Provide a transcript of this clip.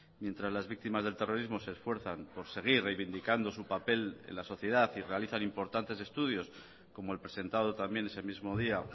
mientras las víctimas del terrorismo se esfuerzan por seguir reivindicando su papel en la sociedad y realizan importantes estudios como el presentado también ese mismo día